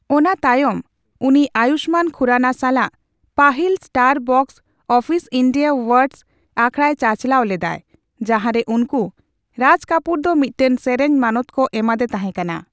ᱚᱱᱟ ᱛᱟᱭᱚᱢ ᱩᱱᱤ ᱟᱭᱩᱥᱢᱟᱱ ᱠᱷᱩᱨᱟᱱᱟ ᱥᱟᱞᱟᱜ ᱯᱟᱹᱦᱤᱞ star box office India awards ᱟᱠᱷᱲᱟᱭ ᱪᱟᱪᱟᱞᱟᱣ ᱞᱮᱫᱟᱭ, ᱡᱟᱦᱟᱸᱨᱮ ᱩᱱᱠᱩ ᱨᱟᱡᱽ ᱠᱟᱯᱩᱨ ᱫᱚ ᱢᱤᱫᱴᱟᱝ ᱥᱮᱨᱮᱧ ᱢᱟᱹᱱᱚᱛ ᱠᱚ ᱮᱢᱟᱫᱮ ᱛᱟᱦᱮᱸᱠᱟᱱᱟ ᱾